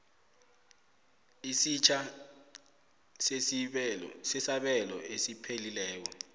esitjha sesabelo esiphelileko